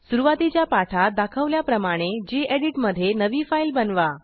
सुरूवातीच्या पाठात दाखवल्याप्रमाणे geditमधे नवी फाईल बनवा